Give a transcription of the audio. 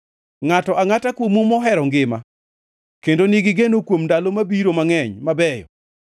Ngʼato angʼata kuomu mohero ngima kendo nigi geno kuom ndalo mabiro mangʼeny mabeyo,